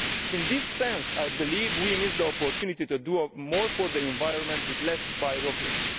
In this sense, I believe we missed the opportunity to do more for the environment with less bureaucracy.